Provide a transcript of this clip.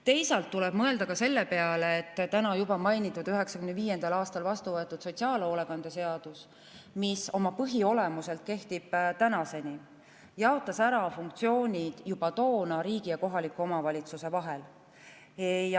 Teisalt tuleb mõelda ka selle peale, et täna juba mainitud, 1995. aastal vastuvõetud sotsiaalhoolekande seadus, mis oma põhiolemuselt kehtib tänaseni, jaotas juba toona ära funktsioonid riigi ja kohaliku omavalitsuse vahel.